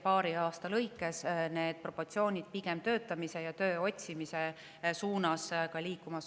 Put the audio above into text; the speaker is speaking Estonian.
Paari aasta jooksul on need proportsioonid pigem töötamise ja töö otsimise suunas liikumas.